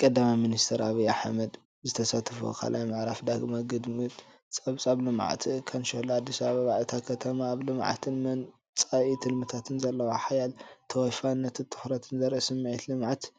ቀዳማይ ሚኒስትር ኣብይ ኣሕመድ (ዶ/ር) ዝተሳተፍዎ ካልኣይ ምዕራፍ ዳግመ ግምት ፀብፃብ ልምዓት ካንሸሎ ኣዲስ ኣበባ፣ እታ ከተማ ኣብ ልምዓታታን መፃኢ ትልምታታን ዘለዋ ሓያል ተወፋይነትን ትኹረትን ዘርኢ፣ ስምዒት ልምዓትን